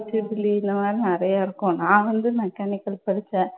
triple E இந்த மாதிரி நிறைய இருக்கும். நான் வந்து மெக்கானிக்கல் படிச்சேன்.